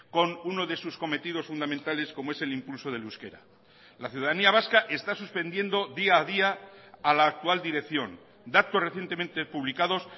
con uno de sus cometidos fundamentales como es el impulso del euskera la ciudadanía vasca está suspendiendo día a día a la actual dirección datos recientemente publicados